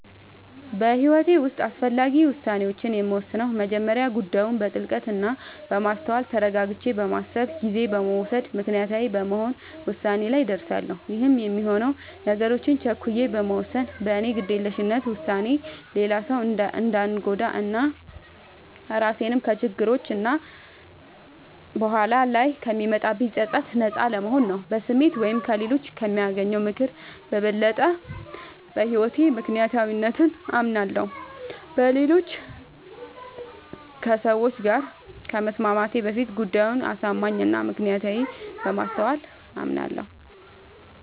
በህይወቴ ዉስጥ አስፈላጊ ዉሳኔዎችን የምወስነው በመጀመሪያ ጉዳዩን በጥልቀት እና በማስተዋል ተረጋግቼ በማሰብ ጊዜ በመዉሰድ ምክንያታዊ በመሆን ዉሳኔ ላይ እደርሳለሁ ይህም የሚሆነው ነገሮችን ቸኩዬ በመወሰን በኔ ግዴለሽነት ዉሳኔ ሌላ ሰዉ እንዳንጎዳ እና ራሴንም ከችግሮች እና በኋላ ላይ ከሚመጣብኝ ፀፀት ነጻ ለመሆን ነዉ። በስሜት ወይም ከሌሎች ከሚያገኘው ምክር በበለጠ በህይወቴ በምክንያታዊነት አምናለሁ፤ በሁኔታዎች ከሰዎች ጋር ከመስማማቴ በፊት ጉዳዩ አሳማኝ እና ምክንያታዊነቱን በማስተዋል አምናለሁ።